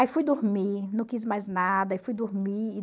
Aí fui dormir, não quis mais nada, fui dormir.